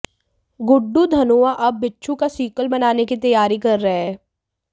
गुड्डू धनोआ अब बिच्छू का सीक्वल बनाने की तैयारी कर रहे हैं